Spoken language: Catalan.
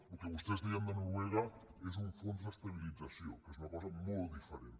el que vostès deien de noruega és un fons d’estabilització que és una cosa molt diferent